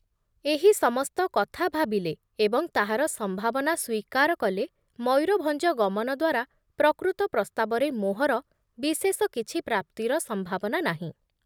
ଏହି ସମସ୍ତ କଥା ଭାବିଲେ ଏବଂ ତାହାର ସମ୍ଭାବନା ସ୍ବୀକାର କଲେ ମୟୂରଭଞ୍ଜ ଗମନ ଦ୍ଵାରା ପ୍ରକୃତ ପ୍ରସ୍ତାବରେ ମୋହର ବିଶେଷ କିଛି ପ୍ରାପ୍ତିର ସମ୍ଭାବନା ନାହିଁ ।